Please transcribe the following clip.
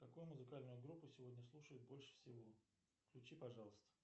какую музыкальную группу сегодня слушают больше всего включи пожалуйста